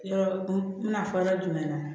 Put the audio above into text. Yɔrɔ n bɛna fɔ yɔrɔ jumɛn na